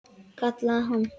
Kallaði hann.